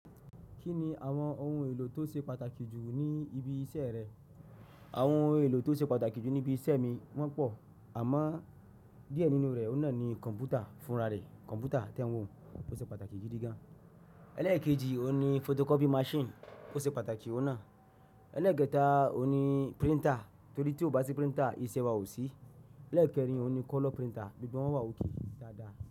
Kí ni àwọn ohun èlò tó ṣe pàtàkì jù ní ibi iṣẹ́ rẹ? Àwọn ohun èlò tó ṣe pàtàkì jù ní ibi iṣẹ́ mi wọ́n pọ̀, àmọ́ díẹ̀ nínú rẹ̀ oní kọ̀npútà fúnra rẹ̀, kọ̀npútà tẹ́wọ̀n tó ṣe pàtàkì gidi gan. Ẹlẹ́ẹ̀kejì, òní photocopy machine tó ṣe pàtàkì ó náà. Ẹlẹ́ẹ̀kẹta, òní printer torí tí ò bá sí printer, iṣẹ́ wa ò sí. Ẹlẹ́ẹ̀kẹrin, òní color printer, gbogbo wọn wà òkè dáadáa.